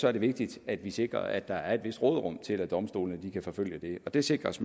er det vigtigt at vi sikrer at der er et vist råderum til at domstolene kan forfølge dem og det sikres